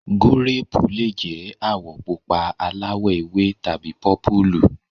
Gúréèpù le jẹ́ àwọ̀ pupa, aláwọ̀-ewé tàbí pọ́púùpù.